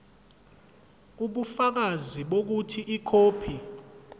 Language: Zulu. ubufakazi bokuthi ikhophi